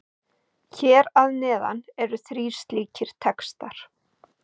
Hér að neðan eru þrír slíkir textar.